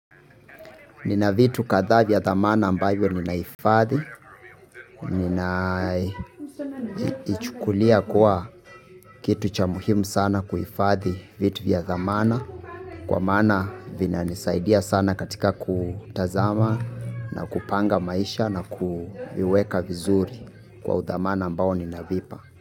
Nina vitu kadhaa vya dhamana ambayo ninahifadhi, ninaichukulia kuwa kitu cha muhimu sana kuhifadhi vitu vya dhamana kwa maana vinanisaidia sana katika kutazama na kupanga maisha na kuweka vizuri kwa udhamana ambao ninavipa.